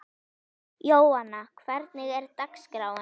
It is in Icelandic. Jóanna, hvernig er dagskráin?